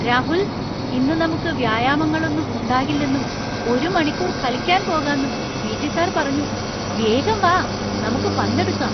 രാഹുൽ! ഇന്ന് നമുക്ക് വ്യായാമങ്ങളൊന്നും ഉണ്ടാകില്ലെന്നും ഒരു മണിക്കൂർ കളിക്കാൻ പോകാന്നും പീ.റ്റി. സർ പറഞ്ഞു! വേഗം വാ, നമുക്ക് പന്ത് എടുക്കാം!